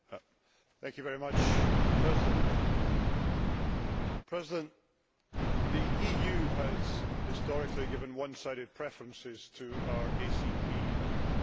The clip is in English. Mr President, the EU has historically given one sided preferences to our ACP partners.